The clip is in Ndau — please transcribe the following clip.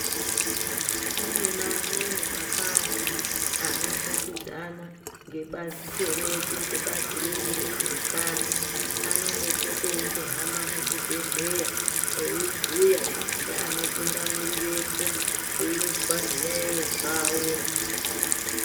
Kunemamweni mabazi anoshandidzana ngebato redu ngebazi redu rezveutano anombopotepo eimbohamba muzvibhehleya iyibhuya ngeanotungamirirepo ezwa zviyayiyo zvawo